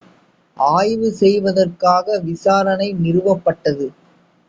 ஆய்வு செய்வதற்காக விசாரணை நிறுவப்பட்டது